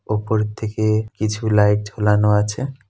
ওপরের দিকে কিছু লাইট ঝোলানো আছে।